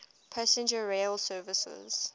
passenger rail services